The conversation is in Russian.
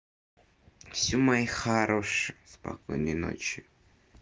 всё мои хорошие спокойной ночи